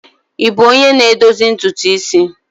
Ị bụ onye na-edozi ntutu isi?